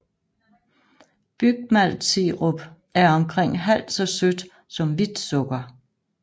Bygmaltsirup er omkring halvt så sødt som hvidt sukker